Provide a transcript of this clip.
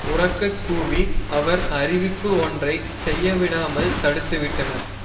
உரக்க கூவி அவர் அறிவிப்பு ஒன்றை செய்ய விடாமல் தடுத்து விட்டனர்